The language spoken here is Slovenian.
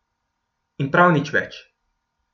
In prav nič več.